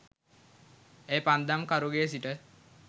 එය පන්දම් කරුගේ සිට